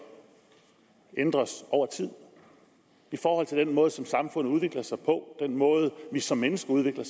ændres over tid i forhold til den måde som samfundet udvikler sig på og den måde vi som mennesker udvikler